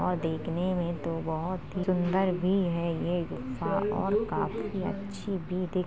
और देखने में तो बहुत ही सुंदर भी है ये गुफा बहुत ही सुंदर है और काफी अच्छी भी दिख --